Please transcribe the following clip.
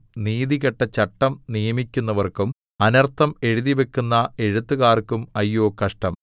നീതികെട്ട ചട്ടം നിയമിക്കുന്നവർക്കും അനർത്ഥം എഴുതിവയ്ക്കുന്ന എഴുത്തുകാർക്കും അയ്യോ കഷ്ടം